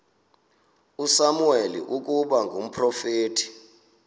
usamuweli ukuba ngumprofeti